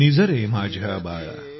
निज रे माझ्या बाळा